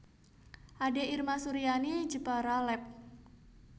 Ade Irma Suryani Jepara Lab